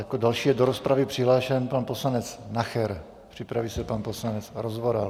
Jako další je do rozpravy přihlášen pan poslanec Nacher, připraví se pan poslanec Rozvoral.